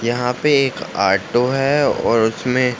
यहाँ पे एक आटो है और उसमें --